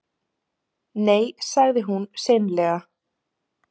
Nei, sagði hún seinlega.